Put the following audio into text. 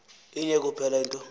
inye kuphela into